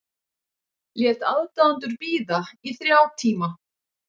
Lét aðdáendur bíða í þrjá tíma